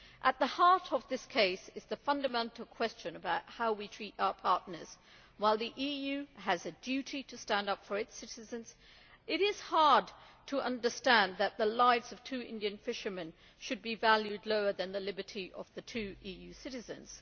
At the heart of this case is the fundamental question about how we treat our partners. While the EU has a duty to stand up for its citizens, it is hard to understand why the lives of two Indian fishermen should be valued lower than the liberty of two EU citizens.